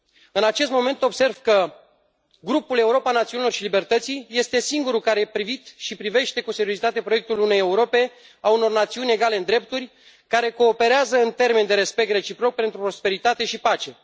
În acest moment, observ că Grupul Europa Națiunilor și Libertății este singurul care a privit și privește cu seriozitate proiectul unei Europe, a unor națiuni egale în drepturi, care cooperează în termeni de respect reciproc pentru prosperitate și pace.